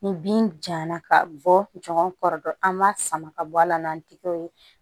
Ni bin jala ka bɔ ɲɔgɔn kɔrɔ an b'a sama ka bɔ a la n'a tigɛw ye